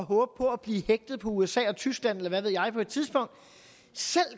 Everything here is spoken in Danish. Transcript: på at blive hægtet på usa og tyskland eller hvad ved jeg på et tidspunkt